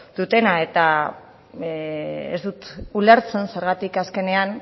dutena eta ez dut ulertzen zergatik azkenean